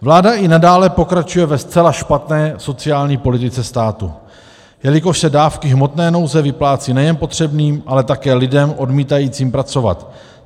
Vláda i nadále pokračuje ve zcela špatné sociální politice státu, jelikož se dávky hmotné nouze vyplácí nejen potřebným, ale také lidem odmítajícím pracovat.